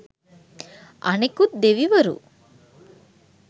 අනෙකුත් දෙවිවරු